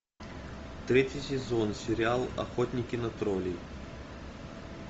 третий сезон сериал охотники на троллей